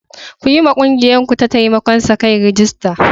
Ku yiwa ƙungiyarku ta taimakon sa-kai rajista.